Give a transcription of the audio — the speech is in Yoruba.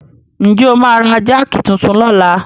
Ǹ jẹ́ o máa ra jáàkì titun lọ́la?